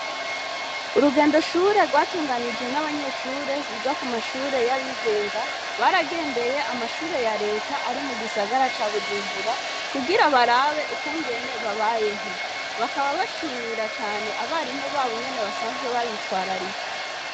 Urugendo shure rwatunganijwe n'abanyeshure biga ku mashure y'abigenga baragendeye amashure ya Leta ari mugisagara ca Bujumbura kugira barabe ukungene babayeho. Bakaba bashimira cane abarimu babo ingene basanzwe babitwararika.